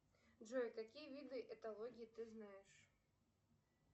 джой какие виды эталогии ты знаешь